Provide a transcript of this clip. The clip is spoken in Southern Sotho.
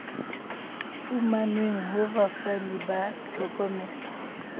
fumanweng ho bafani ba tlhokomelo